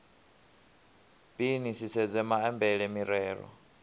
b ni sedze maambele mirero